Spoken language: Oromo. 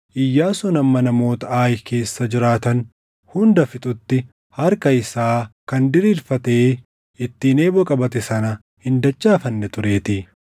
Iyyaasuun hamma namoota Aayi keessa jiraatan hunda fixutti harka isaa kan diriirfatee ittiin eeboo qabate sana hin dachaafanne tureetii.